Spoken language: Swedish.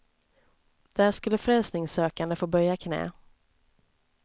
Där skulle frälsningssökande få böja knä.